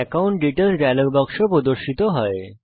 account details dialog বাক্স প্রদর্শিত হয়